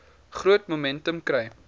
groot momentum kry